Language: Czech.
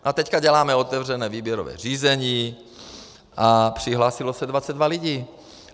A teď děláme otevřené výběrové řízení a přihlásilo se 22 lidí.